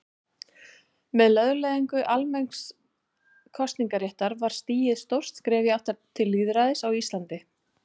Með lögleiðingu almenns kosningaréttar var stigið stórt skref í átt til lýðræðis á Íslandi.